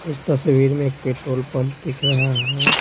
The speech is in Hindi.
इस तस्वीर में एक पेट्रोल पंप दिख रहा है।